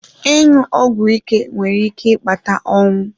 Ịṅụ ọgwụ ike nwere ike ịkpata ọnwụ.